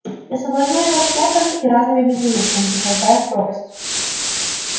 я соблазняю вас шляпками и разными безделушками и толкаю в пропасть